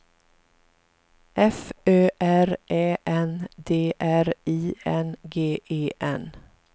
F Ö R Ä N D R I N G E N